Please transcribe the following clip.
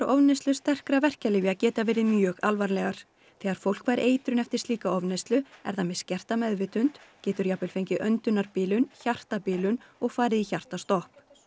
ofneyslu sterkra verkjalyfja geta verið mjög alvarlegar þegar fólk fær eitrun eftir slíka ofneyslu er það með skerta meðvitund getur jafnvel fengið öndunarbilun hjartabilun og farið í hjartastopp